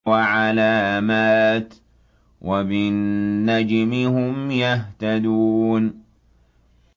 وَعَلَامَاتٍ ۚ وَبِالنَّجْمِ هُمْ يَهْتَدُونَ